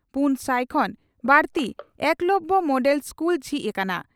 ᱯᱩᱱ ᱥᱟᱭ ᱠᱷᱚᱱ ᱵᱟᱹᱲᱛᱤ ᱮᱠᱞᱚᱵᱭᱚ ᱢᱚᱰᱮᱞ ᱤᱥᱠᱩᱞ ᱡᱷᱤᱡ ᱟᱠᱟᱱᱟ ᱾